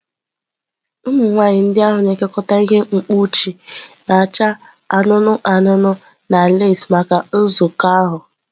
Ụmụ nwaanyị ndị ahụ na-ekekọta ihe mkpuchi na-acha anụnụ anụnụ na leesị maka nzukọ ahụ.